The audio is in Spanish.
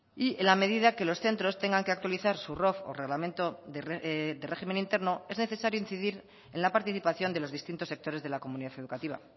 y en la medida que los centros tengan que actualizar su rof o reglamento de régimen interno es necesario incidir en la participación de los distintos sectores de la comunidad educativa